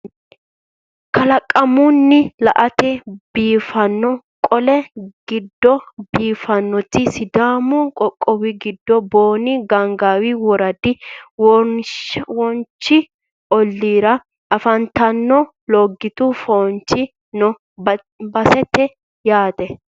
kalaqamunni latte biiffino qa"e giddo biiffannoti sidaamu qoqqowi giddo booni gaangaawi woradi woraanchu olliira afantannoti logitu foonchi noo baseeti yaate